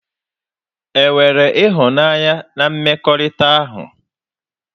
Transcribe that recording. E nwere ịhụnanya na mmekọrịta ahụ?